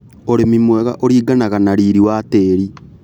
ũrĩmi mwega ũringanaga na riri wa tĩri.